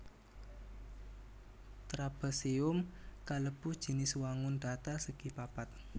Trapésium kalebu jinis wangun dhatar segi papat